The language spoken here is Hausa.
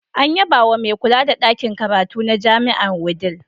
An yabawa mai kula da ɗakin karatu na Jami'ar Wudil.